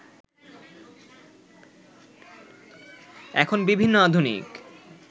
এখন বিভিন্ন আধুনিক